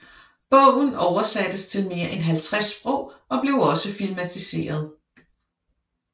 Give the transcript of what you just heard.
Bogen oversattes til mere end 50 sprog og blev også filmatiseret